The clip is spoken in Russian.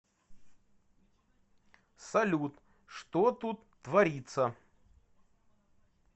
салют что тут творится